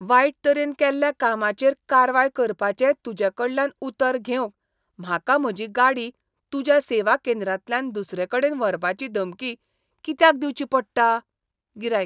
वायट तरेन केल्ल्या कामाचेर कारवाय करपाचें तूजेकडल्यान उतर घेवंक म्हाका म्हजी गाडी तुज्या सेवा केंद्रांतल्यान दुसरेकडेन व्हरपाची धमकी कित्याक दिवची पडटा? गिरायक